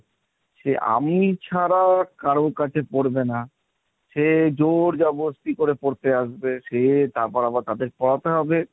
সে আমি ছাড়া কারো কাছে পড়বে না সে জোর জবরস্তি করে পড়তে আসবে সে তারপর আবার তাদের পড়াতে হবে।